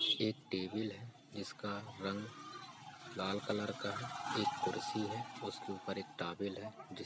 एक टेबल है जिसका रंग लाल कलर का है। एक कुर्सी है उसके ऊपर एक टॉवेल है।